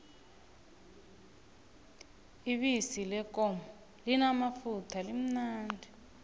ibisi leenkomo limamafutha limnandi